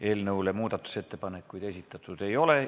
Eelnõu kohta muudatusettepanekuid esitatud ei ole.